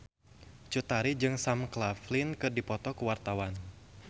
Cut Tari jeung Sam Claflin keur dipoto ku wartawan